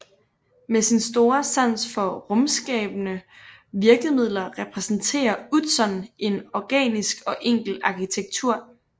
Med sin store sans for rumskabende virkemidler repræsenterer Utzon en organisk og enkel arkitektur